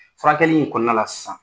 Furakɛli in kɔnɔna la sisan